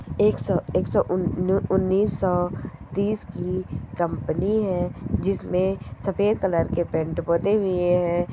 एक सौ एक सौ उन उन उन्नीसौ तीस की कंपनी है जिसमे सफेद कलर के पैंट पुते हुए है।